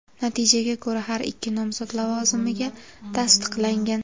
Natijaga ko‘ra har ikki nomzod lavozimga tasdiqlangan.